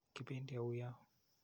Kipendi au yo?